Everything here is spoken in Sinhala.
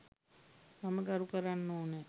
මම ගරු කරන්න ඕනෑ.